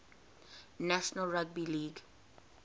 national rugby league